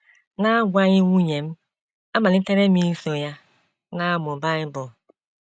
N’agwaghị nwunye m, amalitere m iso ya na - amụ Bible.